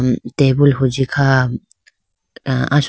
tabool huji kha ah asoka.